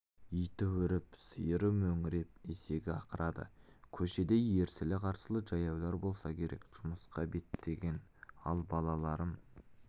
иті үріп сиыры мөңіреп есегі ақырады көшеде ерсілі-қарсылы жаяулар болса керек жұмысқа беттеген ал балаларым